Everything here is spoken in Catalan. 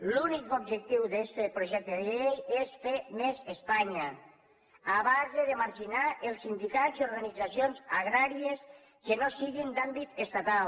l’únic objectiu d’este projecte de llei és fer més espanya a base de marginar els sindicats i organitzacions agràries que no siguin d’àmbit estatal